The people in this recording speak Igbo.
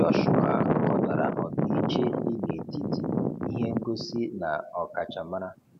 Jọshụa ghọtara ọdịiche dị netiti ihe ngosi na ọkachamara.